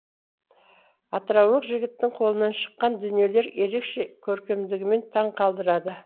атыраулық жігіттің қолынан шыққан дүниелер ерекше көркемдігімен таң қалдырады